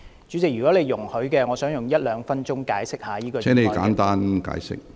主席，如你容許，我想花一兩分鐘解釋這項議案。